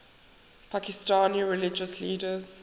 pakistani religious leaders